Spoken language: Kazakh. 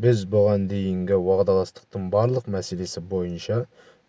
біз бұған дейінгі уағдаластықтың барлық мәселесі бойынша